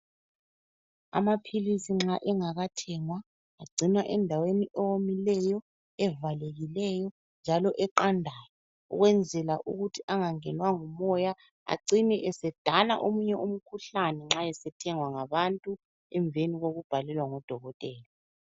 Amaphilisi nxa engakathengwa, agcinwa endaweni ewomileyo ,evalekileyo njalo eqandayo, ukwenzela ukuthi angangenwa ngumoya acine esedala omunye umkhuhlane nxa esethengwa ngabantu emveni kokubhalelwa ngudokotela.